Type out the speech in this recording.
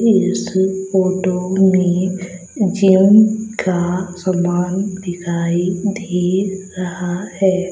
इस फोटो में जिम का समान दिखाई दे रहा है।